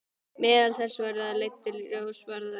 Meðal þess sem þær leiddu í ljós var að undir